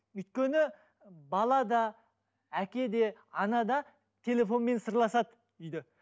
өйткені бала да әке де ана да телефонмен сырласады үйде